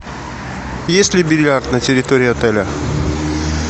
есть ли бильярд на территории отеля